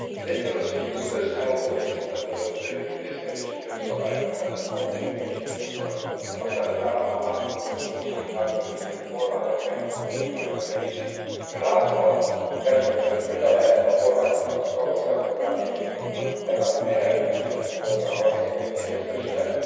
Az egyik az az, hogy itt az összeurópai szinten hozott intézkedések, jogszabályokat tán itt majd mindenki el is fogja fogadni aztán utána, a hátuk mögött, a képviselők háta mögött lévő kormányok meg fütyülnek az egészre. Ön lát e valami perspektívát, hogy hogyan lehet a kormányokat, a tagországokat rábírni, hogy legalább az energiamix dolgában egyeztessenek?